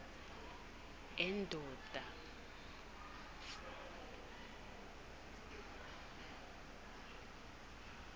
endoda